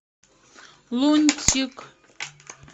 лунтик